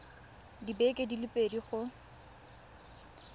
dibeke di le pedi go